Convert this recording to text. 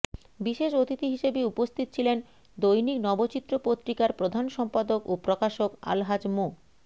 বিশেষ অতিথি হিসেবে উপস্থিত ছিলেন দৈনিক নবচিত্র পত্রিকার প্রধান সম্পাদক ও প্রকাশক আলহাজ্ব মো